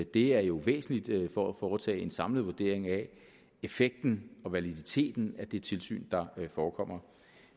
det er jo væsentligt for at foretage en samlet vurdering af effekten og validiteten af det tilsyn der forekommer